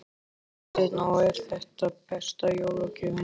Hafsteinn: Og er þetta besta jólagjöfin?